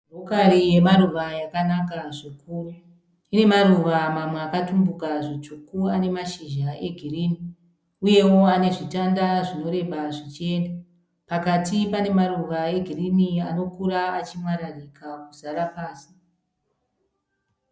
Rokari yemaruva yakanaka zvikuru. Inemaruva mamwe akatumbuka zvitsvuku ane mashizha e girinhi. Uyewo ane zvitanda zvinoreba zvichienda . Pakati pane maruva egirinhi anokura achimwararika kuzara pasi.